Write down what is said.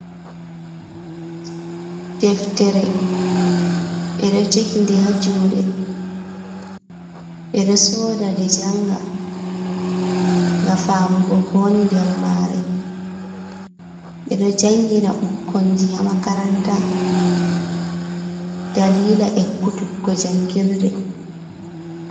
Deftere ɓe ɗo jogi nde ha juuɗe, ɓe ɗo sooda nde janga ga famugo ko woni nder maare, ɓe ɗo jangina ɓukkonji ha makaranta dalila ekkutuggo jangirde.